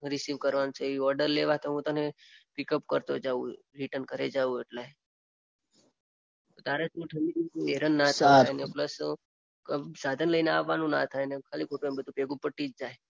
receive કરવાનું છે એ ઓર્ડર લેવા તો હું તને પીકઅપ કરતો જાઉં રીટર્ન ઘરે જાઉં એટલે તારે ઠંડીમાં બઉ હેરાન ના થાય પ્લસ સાધન લઈને અવાનું ના થાય ખાલીખોટું બધું ભેગું પતીજ જાય